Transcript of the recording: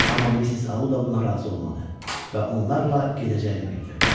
Amma Missis Auda buna razı olmadı və onlarla gedəcəyini bildirdi.